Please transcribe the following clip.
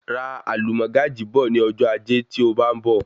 Ra alumọ́gàjí bọ̀ ní ọjọ ajé tí ó bá ń bọ̀